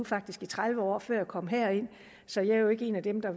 faktisk i tredive år før jeg kom herind så jeg er jo ikke en af dem der